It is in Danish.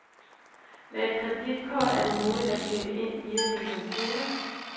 Med et kreditkort er det muligt at købe ind via sin computer.